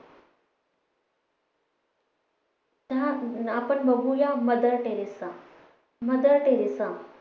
तर आपण बघूया मदर टेरेसा मदर टेरेसा